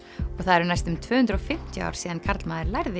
og það eru næstum tvö hundruð og fimmtíu ár síðan karlmaður lærði